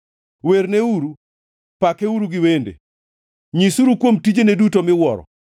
Werneuru, pakeuru gi wende; nyisuru kuom tijene duto miwuoro.